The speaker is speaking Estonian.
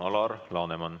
Alar Laneman, palun!